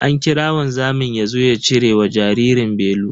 An kira wanzamin yazo ya cire wa jaririn belu.